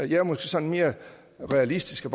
jeg er måske sådan mere realistisk og